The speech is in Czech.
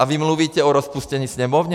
A vy mluvíte o rozpuštění Sněmovny?